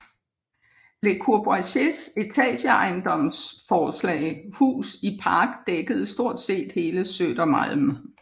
Le Corbusiers etageejendomsforslag Hus i Park dækkede stort set hele Södermalm